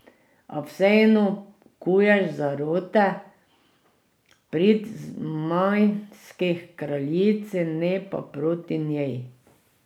A vseeno kuješ zarote v prid zmajski kraljici, ne pa proti njej.